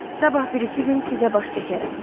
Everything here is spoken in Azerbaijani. Sabah birisi gün sizə baş çəkərəm.